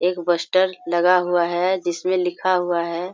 एक बस्टर लगा हुआ है जिस में लिखा हुआ है।